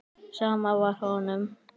Sama var honum.